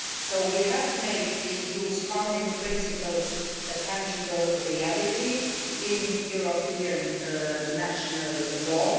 So we have made the EU's founding principles a tangible reality in European national law.